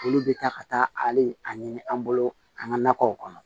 Olu bɛ taa ka taa hali a ɲini an bolo an ka nakɔw kɔnɔ